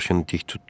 Başını dik tutdu.